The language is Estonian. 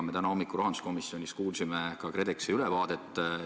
Me täna hommikul rahanduskomisjonis kuulsime ka KredExi ülevaadet.